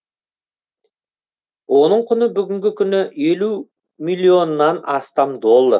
оның құны бүгінгі күні елу миллионнан астам доллар